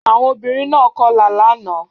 Àwọn obìnrin náà kọlà lánàá